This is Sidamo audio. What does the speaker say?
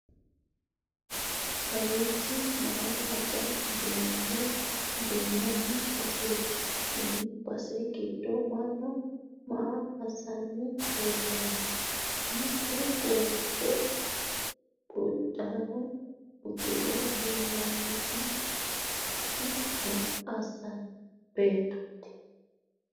kawiichi mayii hajo duunanni baseeti? tenne base giddo mannu maa hasanni leelanno? mittu waajjo uddano uddire leelanni noohu maa assanno beettooti?